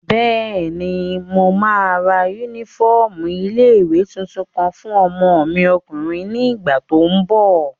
Bẹ́ẹ̀ni, mo máa ra yúnífọ́ọ̀mù ilé-ìwé tuntun kan fún ọmọ mi ọkùnrin ní ìgbà tó n bọ̀